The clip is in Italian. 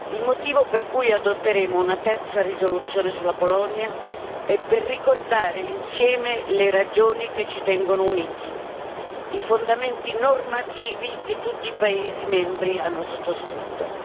Il motivo per cui adotteremo una terza risoluzione sulla Polonia è per ricordare insieme le ragioni che ci tengono uniti, i fondamenti normativi che tutti i paesi membri hanno sottoscritto.